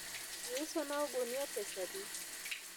iusona ogunia pesadi?